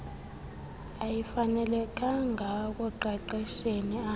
ayifanelekanga ekuqeqesheni ab